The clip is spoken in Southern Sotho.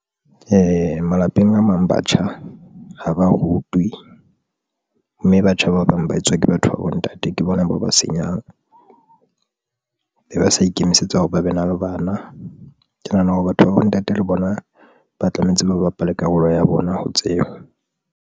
Malapeng a mang batjha ha ba rutwe, mme batjha ba bang ba etswa ke batho ba bontate ke bona bao ba senyang be ba sa ikemisetsa hore ba be na le bana. Ke nahana hore batho ba bontate le bona ba tlametse ba bapale karolo ya bona ho tseba.